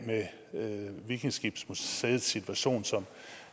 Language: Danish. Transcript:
med vikingeskibsmuseets situation som